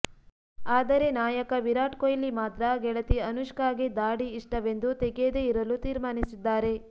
ಆದರೆ ನಾಯಕ ವಿರಾಟ್ ಕೊಹ್ಲಿ ಮಾತ್ರ ಗೆಳತಿ ಅನುಷ್ಕಾಗೆ ದಾಡಿ ಇಷ್ಟವೆಂದು ತೆಗೆಯದೇ ಇರಲು ತೀರ್ಮಾನಿಸಿದ್ದಾರೆ